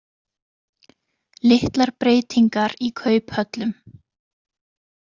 Litlar breytingar í kauphöllum